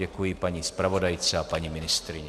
Děkuji paní zpravodajce a paní ministryni.